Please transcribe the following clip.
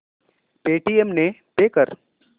Paytm ने pay कर